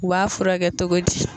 U b'a fura kɛ togo di?